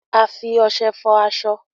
a fí Ọṣẹ fọ aṣọ.